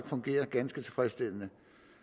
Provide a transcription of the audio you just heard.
fungerer ganske tilfredsstillende